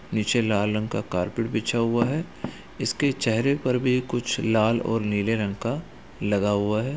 नीचे लाल रंग का कार्पेट बिछा हुआ है इसके चेहरे पर भी कुछ लाल और नीले रंग का लगा हुआ है।